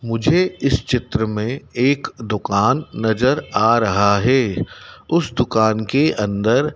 मुझे इस चित्र में एक दुकान नजर आ रहा है उस दुकान के अंदर--